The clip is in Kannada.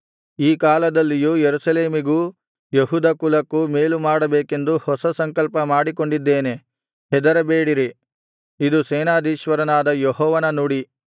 ಈ ಕಾಲದಲ್ಲಿಯೂ ಯೆರೂಸಲೇಮಿಗೂ ಯೆಹೂದ ಕುಲಕ್ಕೂ ಮೇಲುಮಾಡಬೇಕೆಂದು ಹೊಸ ಸಂಕಲ್ಪ ಮಾಡಿಕೊಂಡಿದ್ದೇನೆ ಹೆದರಬೇಡಿರಿ ಇದು ಸೇನಾಧೀಶ್ವರನಾದ ಯೆಹೋವನು ನುಡಿ